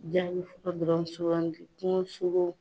Ja i ye fɔlɔ dɔrɔn sugandi, kungo sogo.